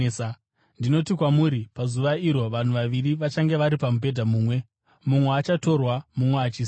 Ndinoti kwamuri, pazuva iro vanhu vaviri vachange vari pamubhedha mumwe; mumwe achatorwa mumwe achisiyiwa.